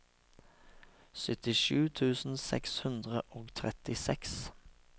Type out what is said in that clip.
syttisju tusen seks hundre og trettiseks